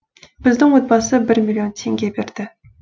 біздің отбасы бір миллион теңге берді